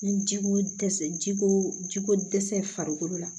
Ni ji ko dɛsɛ ji ko ji ko dɛsɛ farikolo la